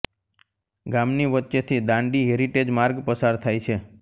ગામની વચ્ચેથી દાંડી હેરીટેજ માર્ગ પસાર થાય છે